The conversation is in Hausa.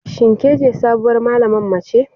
Shin kece sabuwar malaman mace?